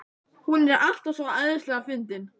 Hún er alltaf svo æðislega fyndin.